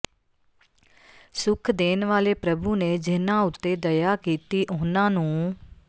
ਸੁਖ ਦੇਣ ਵਾਲੇ ਪ੍ਰਭੂ ਨੇ ਜਿਨ੍ਹਾਂ ਉਤੇ ਦਇਆ ਕੀਤੀ ਉਹਨਾਂ ਨੂੰ